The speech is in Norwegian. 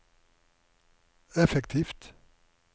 effektivt